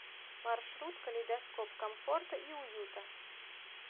маршрут калейдоскоп комфорта и уюта